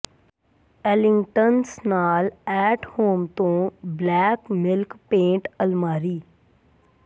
Ellingtons ਨਾਲ at home ਤੋਂ black milk paint ਅਲਮਾਰੀ